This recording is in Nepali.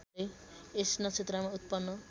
यस नक्षत्रमा उत्पन्न